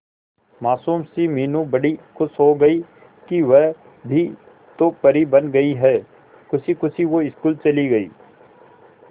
मासूम सी मीनू बड़ी खुश हो गई कि वह भी तो परी बन गई है खुशी खुशी वो स्कूल चली गई